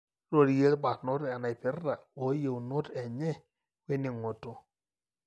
rorie ilbarnot enaipirta oyieunot enye weningoto.